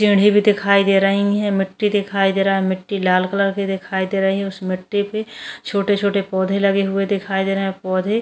भी दिखाई दे रही है मिट्टी दिखाई दे रहा है मिट्टी लाल कलर की दिखाई दे रही है उस मिट्टी पे छोटे-छोटे पौधे लगे हुए दिखाई दे रहे हैं पौधे --